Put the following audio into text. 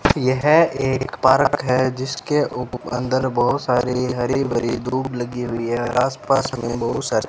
यह एक पारक है जिसके ऊपर अंदर बहोत सारी हरी भरी दूब लगी हुई है और आसपास में बहोत सारे --